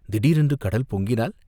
திடீரென்று கடல் பொங்கினால்?